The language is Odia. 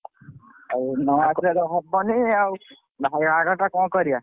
ଆଉ ନ ଆସିଲେ ତ ହବନି ଆଉ।